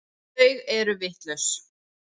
Þau eru vitlaus.